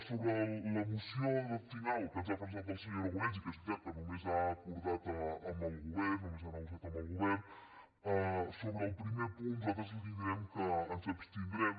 sobre la moció final que ens ha presentat el senyor aragonès i que és veritat que només ha acordat amb el govern només ha negociat amb el govern sobre el primer punt nosaltres li direm que ens abstindrem